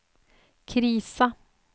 krisa